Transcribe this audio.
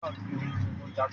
Agbègbè ìlú jẹ́ gbàgede ọjà títà